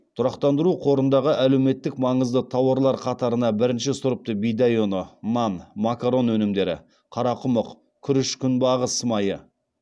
тұрақтандыру қорындағы әлеуметтік маңызды тауарлар қатарына бірінші сұрыпты бидай ұны нан макарон өнімдері қарақұмық күріш күнбағыс майы